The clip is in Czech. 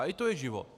A i to je život.